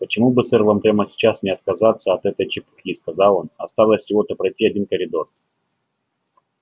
почему бы сэр вам прямо сейчас не отказаться от этой чепухи сказал он осталось всего-то пройти один коридор